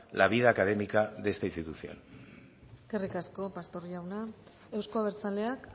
la vida académica de esta institución eskerrik asko pastor jauna eusko abertzaleak